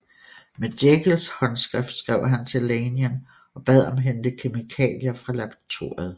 Med Jekylls håndskrift skrev han til Lanyon og bad ham hente kemikalier fra laboratoriet